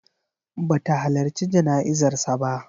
Ba ta halarci jana'izar sa ba.